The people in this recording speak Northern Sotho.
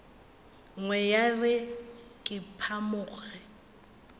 nngwe ya re ke phamoge